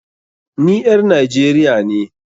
NI ƴar Nigeria ne.